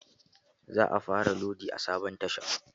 Za a fara lodi a sabon tashan.